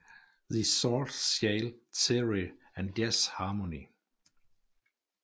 The Chord Scale Theory and Jazz Harmony